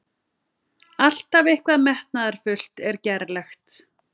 Alltaf eitthvað metnaðarfullt en gerlegt.